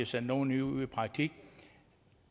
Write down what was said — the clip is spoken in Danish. sendt nogle ud i praktik